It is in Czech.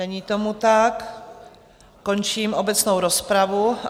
Není tomu tak, končím obecnou rozpravu.